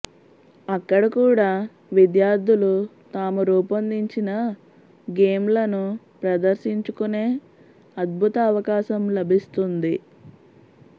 అక్కడ కూడా విద్యార్థులు తాము రూపొందించిన గేమ్ లను ప్రదర్శించుకునే అద్భుత అవకాశం లభిస్తుంది